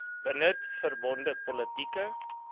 benut verbonde politieke